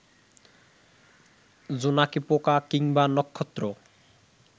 জোনাকি পোকা কিংবা নক্ষত্র